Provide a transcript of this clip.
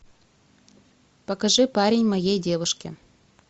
покажи парень моей девушки